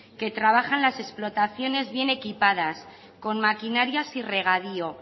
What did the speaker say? que trabajan las explotaciones bien equipadas con maquinarias y regadío